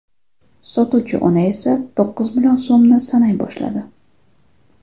Sotuvchi ona esa to‘qqiz million so‘mni sanay boshladi.